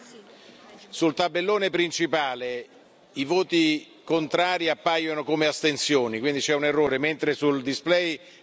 Sul tabellone principale i voti contrari appaiono come astensioni, quindi c'è un errore, mentre sul display è giusto.